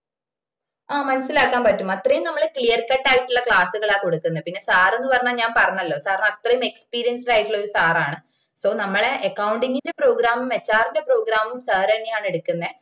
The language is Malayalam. ആഹ് മനസിലാക്കാന് പറ്റും അത്രേം നമ്മള് clear cut ആയിട്ടുള്ള class കളാണ് കൊടുക്കന്ന പിന്ന sir ന്ന് പറഞ്ഞ ഞാൻ പറഞ്ഞല്ലോ sir ന് അത്രേം experienced ആയിട്ടുള്ള ഒര് sir ആണ് so നമ്മള accounting program ഉം HR ന്റെ program ഉം sir ന്നാണ് എടുക്കുന്നേ